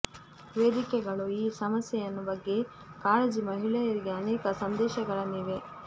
ವೇದಿಕೆಗಳು ಈ ಸಮಸ್ಯೆಯನ್ನು ಬಗ್ಗೆ ಕಾಳಜಿ ಮಹಿಳೆಯರಿಗೆ ಅನೇಕ ಸಂದೇಶಗಳನ್ನು ಇವೆ